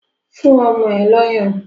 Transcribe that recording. Fún ọmọ ẹ lọ́yàn!